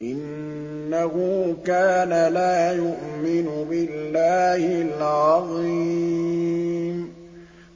إِنَّهُ كَانَ لَا يُؤْمِنُ بِاللَّهِ الْعَظِيمِ